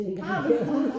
har du?